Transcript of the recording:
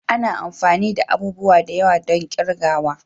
Ana amfani da abubuwa da yawa don kirgawa.